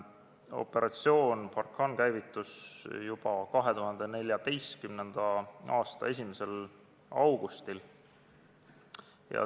Operatsioon Barkhane käivitus juba 2014. aasta 1. augustil.